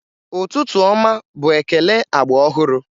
Ụtụtụ ọma bụ ekele agba ọhụrụ